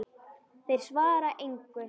Þeir svara engu.